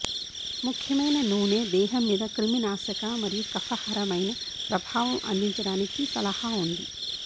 ముఖ్యమైన నూనె దేహం మీద క్రిమినాశక మరియు కఫహరమైన ప్రభావం అందించడానికి సలహా ఉంది